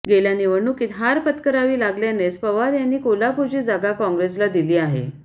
गेल्या निवडणुकीत हार पत्करावी लागल्यानेच पवार यांनी कोल्हापूरची जागा काँग्रेसला दिली आहे